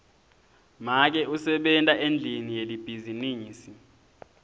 make usebenta endlini yelibhizinisi